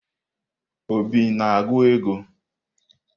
Obi na-agụ ego?